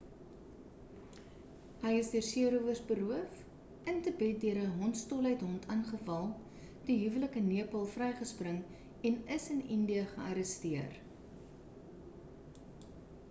hy is deur seerowers beroof in tibet deur 'n hondsdol hond aangeval die huwelik in nepal vrygespring en is in indië gearresteer